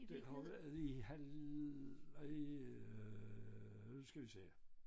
Det har været i halv øh i øh nu skal vi se